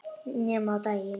Ekki nema á daginn